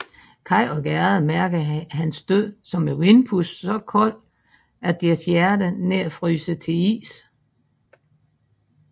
Kaj og Gerda mærker hans død som et vindpust så koldt at deres hjerter nær fryser til is